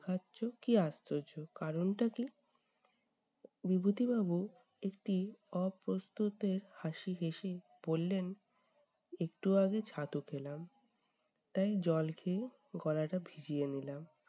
খাচ্ছ! কী আশ্চর্য! কারণটা কী? বিভূতি বাবু একটি অপ্রস্তুতের হাসি হেসে বললেন, একটু আগে ছাতু খেলাম, তাই জল খেয়ে গলাটা ভিজিয়ে নিলাম।